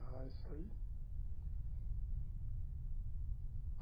Ah, isso aí.